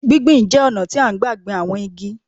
Gbí gbi n jẹ́ ọ̀nà tí à n gbà gbin àwọn igi